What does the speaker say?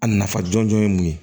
A nafa jɔnjɔn ye mun ye